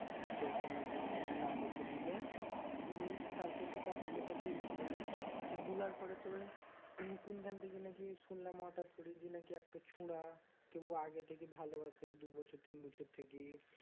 নিয়ে তোর বোনও বললে number দিলে নিয়ে তারপরে তো কথা কথা বলছিলাম নিয়ে বুলার পরে তোর ওই কোনখান থেকে নাকি হঠাৎ করে নাকি একটা ছোঁড়া কে ও আগে থেকে ভালবাসে দু বছর তিন বছর থেকেই